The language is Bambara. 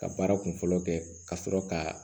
Ka baara kunfɔlɔ kɛ ka sɔrɔ ka